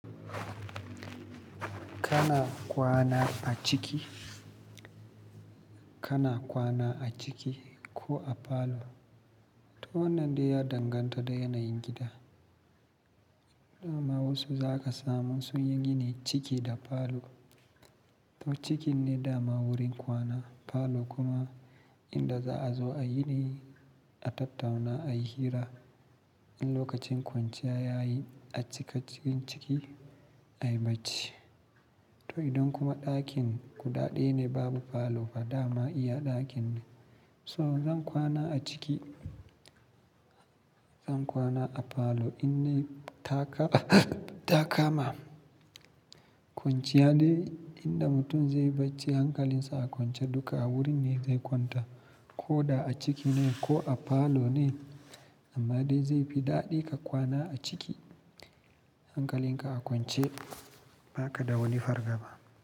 Kana kwana a ciki, kana kwana a ciki ko a falo? To wannan dai ya danganta da yanayin gida. Dama wasu za ka samu sun yi gini ciki da falo. To cikin ne dama wurin kwana, falo kuma inda za a zo a yiɗi, a tattauna, a yi hira. In lokacin kwanciya yayi a cika cikin ciki, a yi bacci. To idan kuma ɗakin guda ɗaya ne babu falo fa dama iya ɗakin ne. So zan kwana a ciki, zan kwana a falo in dai ta kama kwanciya de inda mutum zai bacci hankalinsa a kwance duka a wurin ne zai kwanta koda a ciki ne ko a falo ne amma dai zai fi daɗi ka kwana a ciki. Hankalin ka a kwance ba ka da wani fargaba.